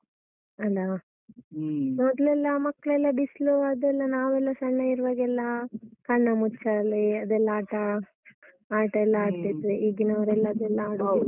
ಅಲ, ಮೊದ್ಲೆಲ್ಲ ಮಕ್ಳೆಲ್ಲ ಬಿಸ್ಲು ಅದೆಲ್ಲ ನಾವೆಲ್ಲ ಸಣ್ಣ ಇರುವಾಗ ಎಲ್ಲ ಕಣ್ಣಮುಚ್ಚಾಲೆ ಅದೆಲ್ಲ ಆಟ~ ಆಟ ಎಲ್ಲ ಆಟ ಎಲ್ಲಾ ಆಡ್ತಾ ಈಗಿನವ್ರೆಲ್ಲ ಅದೆಲ್ಲ ಆಡು